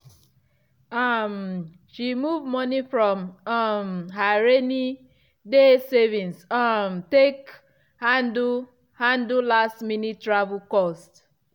um she move money from um her rainy-day savings um take handle handle last-minute travel cost.